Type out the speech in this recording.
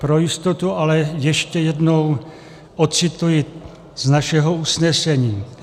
Pro jistotu, ale ještě jednou ocituji z našeho usnesení.